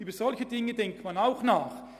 Über solche Dinge denkt man auch nach.